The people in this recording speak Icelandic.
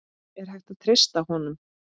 Er hægt að treysta honum?